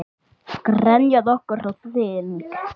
Grenjað okkur á þing?